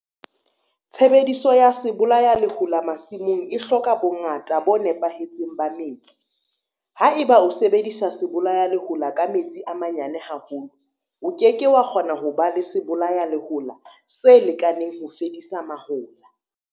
Tshebediso ya sebolayalehola masimong e hloka bongata bo nepahetseng ba metsi. Ha eba o sebedisa sebolayalehola ka metsi a manyane haholo, o ke ke wa kgona ho ba le sebolayalehola se lekaneng ho fedisa mahola.